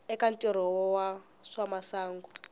eka ntirho wa swa masangu